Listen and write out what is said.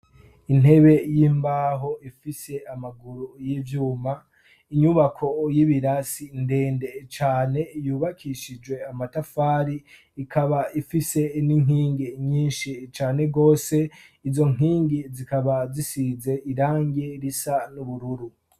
Intebe yimbaho ifise amaguru yivyuma, inyubako y'ibirasi ndende cane yubakishijwe amatafari ikaba ifise n'inkingi nyinshi cane gose izo nkingi zikaba zisize irange risa n'ubururu.